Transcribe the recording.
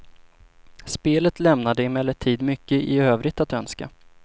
Spelet lämnade emellertid mycket i övrigt att önska.